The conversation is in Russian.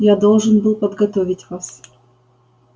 я должен был подготовить вас